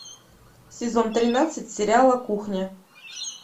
сезон тринадцать сериала кухня